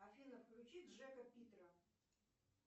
афина включи джека питера